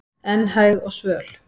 en hæg og svöl